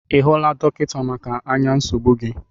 Ị hụla dọkịta maka anya nsogbụ gị?